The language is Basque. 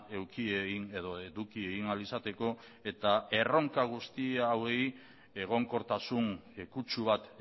eduki egin edo eduki egin ahal izateko eta erronka guzti hauei egonkortasun kutsu bat